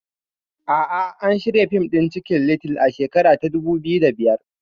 A'a, an shirya fim ɗin Cikin little a shekara ta dubu biyu da biyar